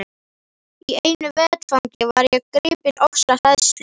Í einu vetfangi var ég gripin ofsahræðslu.